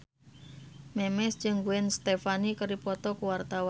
Memes jeung Gwen Stefani keur dipoto ku wartawan